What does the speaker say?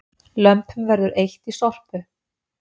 Lömpum verður eytt í Sorpu